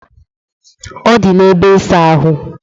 Ọ dị n'ebe ịsa ahụ.